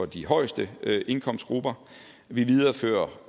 de højeste indkomstgrupper vi viderefører